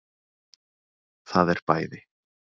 Það er bæði